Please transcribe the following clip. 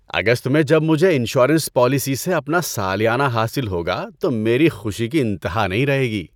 ‏اگست میں جب مجھے انشورنس پالیسی سے اپنا سالیانہ حاصل ہوگا تو میری خوشی کی انتہا نہیں رہے گی۔